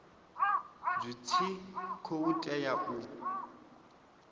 zwi tshi khou tea u